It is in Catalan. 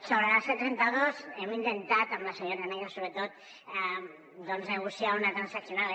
sobre la c trenta dos hem intentat amb la senyora negre sobretot negociar una transaccional